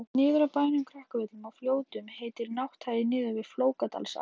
Niður af bænum Krakavöllum í Fljótum heitir Nátthagi niður við Flókadalsá.